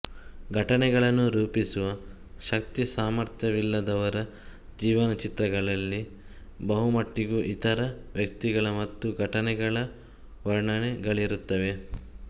ಘಟನೆಗಳನ್ನು ರೂಪಿಸುವ ಶಕ್ತಿಸಾಮಥ್ರ್ಯವಿಲ್ಲದವರ ಜೀವನಚಿತ್ರಗಳಲ್ಲಿ ಬಹುಮಟ್ಟಿಗೂ ಇತರ ವ್ಯಕ್ತಿಗಳ ಮತ್ತು ಘಟನೆಗಳ ವರ್ಣನೆಗಳಿರುತ್ತವೆ